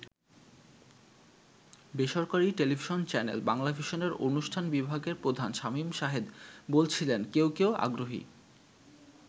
বেসরকারী television channel বাংলাভিশনের অনুষ্ঠান বিভাগের প্রধান শামীম শাহেদ বলছিলেন, "কেউ কেউ আগ্রহী।